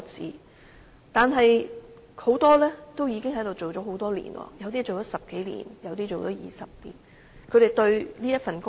可是，她們很多已經在此工作多年，有些工作了10多年，有些更是20多年。